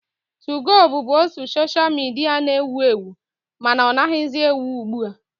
2go bụbu otu soshal midia na-ewu ewu mana ọ naghịzi ewu ugbu a